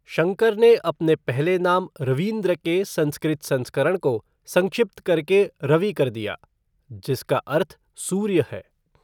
शंकर ने अपने पहले नाम रवींद्र के संस्कृत संस्करण को संक्षिप्त करके रवि कर दिया, जिसका अर्थ "सूर्य" है।